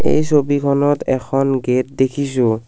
এই ছবিখনত এখন গেট দেখিছোঁ।